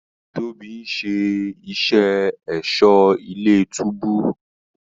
Tóbi ń ṣe iṣé Ẹ̀ṣọ́ ilé-túbú